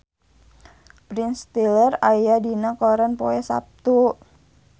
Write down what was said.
Ben Stiller aya dina koran poe Saptu